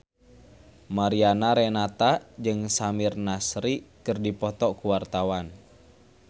Mariana Renata jeung Samir Nasri keur dipoto ku wartawan